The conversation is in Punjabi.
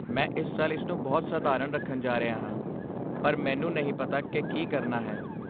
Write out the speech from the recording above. ਮੈਂ ਇਸ ਸਾਲ ਇਸਨੂੰ ਬਹੁਤ ਸਧਾਰਨ ਰੱਖਣ ਜਾ ਰਿਹਾ ਹਾਂ, ਪਰ ਮੈਨੂੰ ਨਹੀਂ ਪਤਾ ਕਿ ਕੀ ਕਰਨਾ ਹੈ।